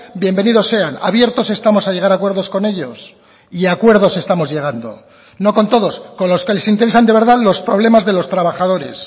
bienvenidos sean abiertos estamos a llegar a acuerdos con ellos y a acuerdos estamos llegando no con todos con los que les interesan de verdad los problemas de los trabajadores